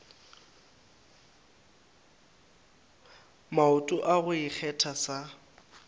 maoto a go ikgetha sa